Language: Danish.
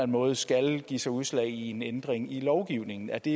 måde skal give sig udslag i en ændring i lovgivningen er det